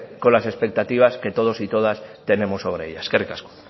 con las expectativas que todos y todas tenemos sobre ella eskerrik asko